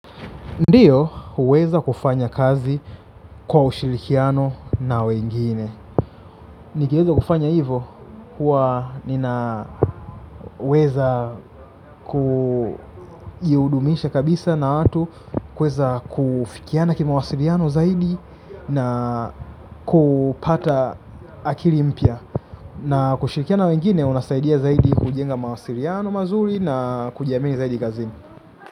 Ndiyo huweza kufanya kazi kwa ushirikiano na wengine. Nikiweza kufanya hivo, huwa ninaweza kujiudumisha kabisa na watu kuweza kufikiana kimawasiliano zaidi na kupata akili mpya. Na kushirikiana na wengine unasaidia zaidi kujenga mawasiliano mazuri na kujiamini zaidi kazini.